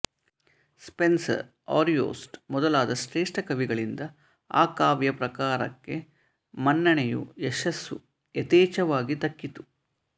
Spencer Ariosto ಮೊದಲಾದ ಶ್ರೇಷ್ಠ ಕವಿಗಳಿಂದ ಆ ಕಾವ್ಯ ಪ್ರಕಾರಕ್ಕೆ ಮನ್ನಣೆಯೂ ಯಶಸ್ಸೂ ಯಥೇಚ್ಛವಾಗಿ ದಕ್ಕಿತು